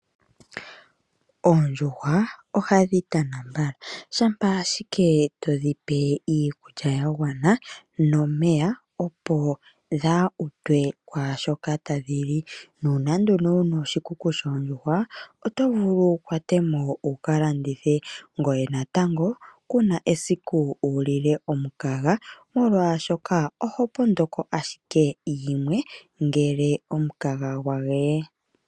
Oondjuhawa, ohadhi tana mbala shampa ashike to dhipe iikulya yagwana nomeya opo dhaa utwe kwaashoka ta dhi li, nuuna nduno wu na oshikuku shoondjuhwa oto vulu wu kwatemo wuka landithe ngoye natango kuna esiku wulile omukaga molwaashoka oho pondoko ashike yimwe ngele omukaga gwa geye.